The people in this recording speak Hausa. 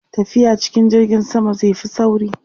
tafiya cikin jirgin sama zai Fi sauri